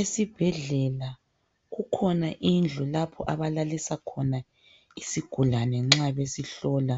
Esibhedlela kukhona indlu lapho abalalisa khona isigulane nxa besihlola.